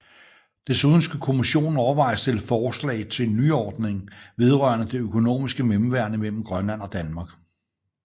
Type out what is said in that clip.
Desuden skulle Kommissionen overveje og stille forslag til en nyordning vedrørende det økonomiske mellemværende mellem Grønland og Danmark